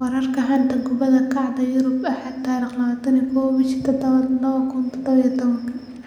Wararka xanta kubada cagta Yurub Axad 21.07.2017: Carroll, De Gea, Pepe, Almada, Janssen, Sessegnon, Trezeguet, McNeil